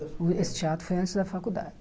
Esse teatro foi antes da faculdade.